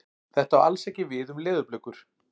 Þetta á alls ekki við um leðurblökur.